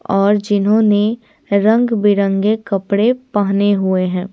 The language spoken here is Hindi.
और जिन्होंने रंग-बिरंगे कपड़े पहने हुए है।